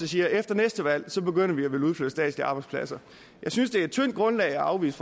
siger at efter næste valg begynder man at ville udflytte statslige arbejdspladser jeg synes det er et tyndt grundlag at afvise